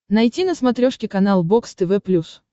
найти на смотрешке канал бокс тв плюс